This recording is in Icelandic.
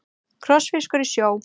Krossfiskur í sjó.